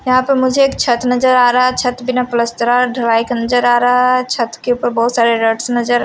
यहां पे मुझे एक छत नजर आ रहा है छत पे न प्लास्टरा ढलाई का नजर आ रहा है छत के ऊपर बहोत सारे रॉड्स नजर --